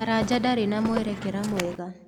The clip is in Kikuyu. Karanja ndarĩ na mwerekera mwega.